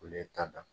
Olu ye tada